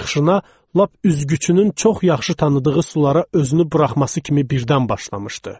Çıxışına lap üzgüçünün çox yaxşı tanıdığı sulara özünü buraxması kimi birdən başlamışdı.